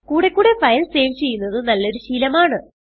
കൂടെ ക്കൂടെ file save ചെയ്യുന്നത് നല്ലൊരു ശീലമാണ്